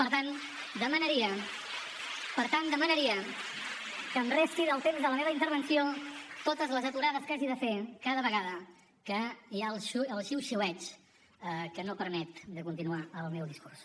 per tant demanaria que em resti del temps de la meva intervenció totes les aturades que hagi de fer cada vegada que hi ha el xiuxiueig que no permet de continuar el meu discurs